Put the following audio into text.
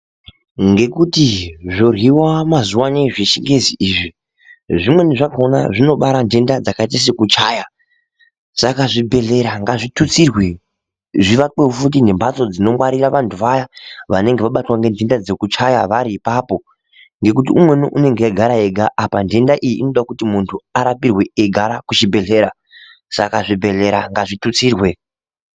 Ngekuti zvoryiwa mazuwa ano zvechingezi izvi .zimweni zvakona zvinobara nhenda dzakaita sekuchaya. saka zvibhedhlera ngazvitutsirwe zvivakwe futi nembatso dzinongwarira vantu vaya vanenge vabatwa nenhenda dzekuchaya vari ipapo ngekuti umweni unenge eigara ega apa nhenda iyi inoda kuti muntu arapirwe eigara kuchibhedhlera, saka zvibhedhlera ngazvitutsirwe.